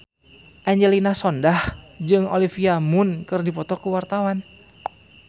Angelina Sondakh jeung Olivia Munn keur dipoto ku wartawan